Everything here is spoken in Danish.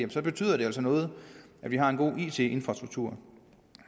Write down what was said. betyder det altså noget at vi har en god it infrastruktur